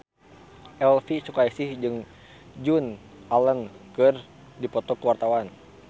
Elvi Sukaesih jeung Joan Allen keur dipoto ku wartawan